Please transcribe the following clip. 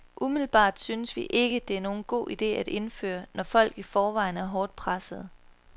Umiddelbart synes vi ikke, det er nogen god ide at indføre, når folk i forvejen er hårdt pressede.